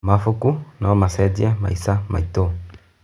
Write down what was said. Mabuku no macenjie maica maitũ.